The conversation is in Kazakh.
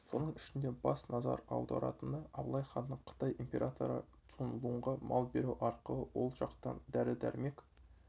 соның ішінде бас назар аударатыны абылайханның қытай императоры цун лунға мал беру арқылы ол жақтан дәрі-дәрмек